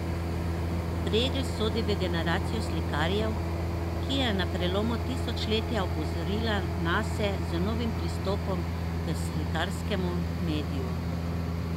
Pregl sodi v generacijo slikarjev, ki je na prelomu tisočletja opozorila nase z novim pristopom k slikarskemu mediju.